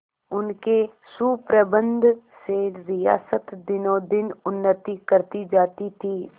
उनके सुप्रबंध से रियासत दिनोंदिन उन्नति करती जाती थी